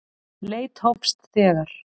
Leit hófst þegar